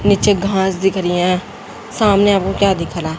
नीचे घास दिख रही है सामने आपको क्या दिख रहा है?